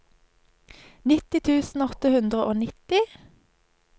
nitti tusen åtte hundre og nitti